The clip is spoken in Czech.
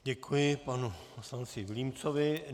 Děkuji panu poslanci Vilímcovi.